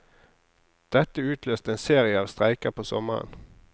Dette utløste en serie av streiker på sommeren.